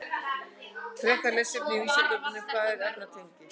Frekara lesefni á Vísindavefnum: Hvað eru efnatengi?